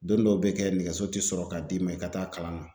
Don dɔw be kɛ, nɛgɛso te sɔrɔ ka d'i ma i ka taa kalan na.